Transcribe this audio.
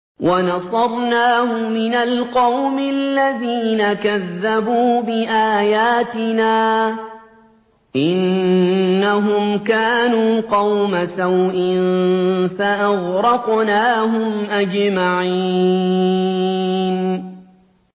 وَنَصَرْنَاهُ مِنَ الْقَوْمِ الَّذِينَ كَذَّبُوا بِآيَاتِنَا ۚ إِنَّهُمْ كَانُوا قَوْمَ سَوْءٍ فَأَغْرَقْنَاهُمْ أَجْمَعِينَ